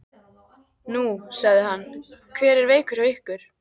Nú, sagði hann, hver er veikur hjá ykkur?